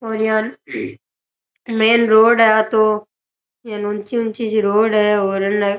और यान main road है आ तोयान ऊंची ऊंची सी रोड है और अने --